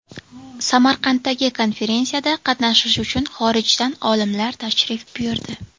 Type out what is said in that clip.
Samarqanddagi konferensiyada qatnashish uchun xorijdan olimlar tashrif buyurdi .